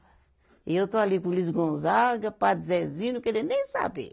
E eu estou ali com o Luiz Gonzaga, padre Zezinho, não querendo nem saber.